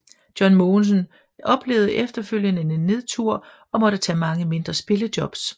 John Mogensen oplevede efterfølgende en nedtur og måtte tage mange mindre spillejobs